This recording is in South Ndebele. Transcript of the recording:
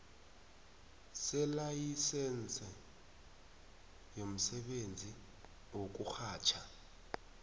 selayisense yomsebenzi wokurhatjha